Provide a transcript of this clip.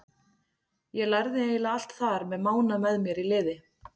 Ég lærði eiginlega allt þar með Mána með mér í liði.